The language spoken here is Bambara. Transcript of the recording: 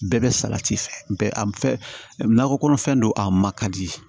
Bɛɛ bɛ salati fɛ a nakɔ kɔnɔfɛn don a ma ka di